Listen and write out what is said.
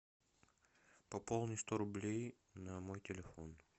пополни сто рублей на мой телефон